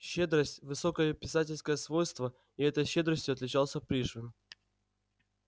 щедрость высокое писательское свойство и этой щедростью отличался пришвин